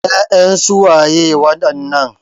Ya'yan su waye wadannan?